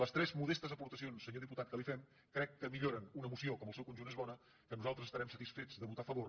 les tres modestes aportacions senyor diputat que li fem crec que milloren una moció que en el seu conjunt és bona que nosaltres estarem satisfets de votar a favor